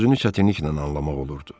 sözünü çətinliklə anlamaq olurdu.